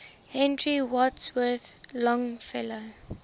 henry wadsworth longfellow